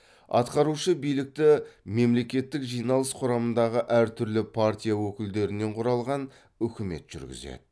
атқарушы билікті мемлекеттік жиналыс құрамындағы әртүрлі партия өкілдерінен құралған үкімет жүргізеді